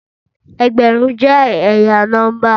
Ẹgbẹrun jẹ ẹya nọmba